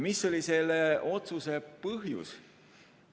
Mis oli selle otsuse põhjus?